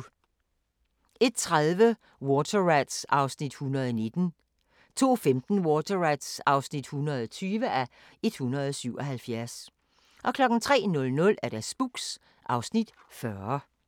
01:30: Water Rats (119:177) 02:15: Water Rats (120:177) 03:00: Spooks (Afs. 40)